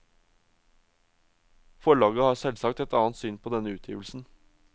Forlaget har selvsagt et annet syn på denne utgivelsen.